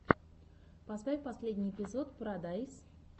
поставь последний эпизод парадайз